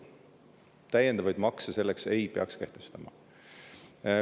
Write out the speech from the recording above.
Täiendavaid makse ei peaks kehtestama.